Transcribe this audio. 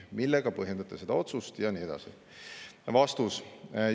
Millega põhjendate seda otsust ?" Ja nii edasi.